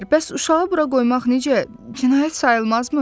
Bəs uşağı bura qoymaq necə, cinayət sayılmazmı?